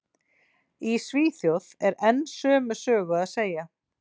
Í Svíþjóð er enn sömu sögu að segja.